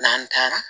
N'an taara